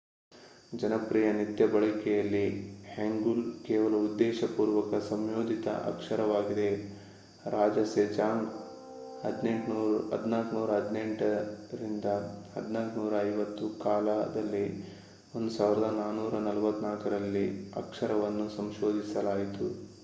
ಜನಪ್ರಿಯ ನಿತ್ಯ ಬಳಕೆಯಲ್ಲಿ ಹಾಂಗ್ಯುಲ್ ಕೇವಲ ಉದ್ದೇಶಪೂರ್ವಕ ಸಂಶೋಧಿತ ಅಕ್ಷರವಾಗಿದೆ. ರಾಜ ಸೆಜಾಂಗ್ 1418 - 1450 ಕಾಲದಲ್ಲಿ 1444 ರಲ್ಲಿ ಅಕ್ಷರವನ್ನು ಸಂಶೋಧಿಸಲಾಯಿತು